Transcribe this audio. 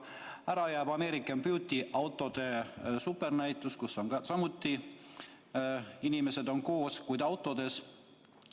Ära jääb American Beauty autode supernäitus, kus on samuti inimesed koos, kuid autodes.